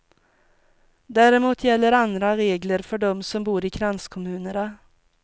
Däremot gäller andra regler för dem som bor i kranskommunerna.